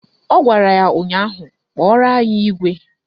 Ọ gwara ya ụnyaahụ "Kpọrọ anyị igwe"!